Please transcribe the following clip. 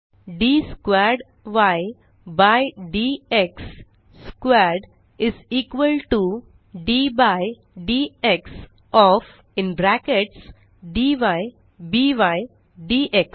D squared y by d x squared is equal to d by dx of